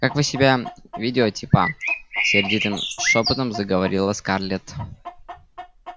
как вы себя ведёте па сердитым шёпотом заговорила скарлетт